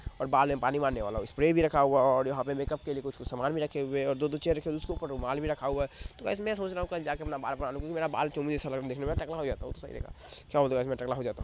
ओर बाल मे पानी मारने वाला स्प्रे भी रखा हुआ है और यहा पे मेकअप के लिए कुछ कुछ सामान भी रखे हुए है और दो दो चेयर रखी है जिसके ऊपर रुमाल भी रखा हुआ है तो गाइस मे सोच रहा हु की कल जाके अपना बाल क्युकी मेरा बाल चोमू जैसा लग रहा है देखने में क्या गाइस मे टकला हो जाता हु।